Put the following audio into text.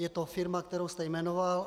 Je to firma, kterou jste jmenoval.